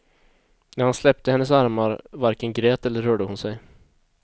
När han släppte hennes armar varken grät eller rörde hon sig.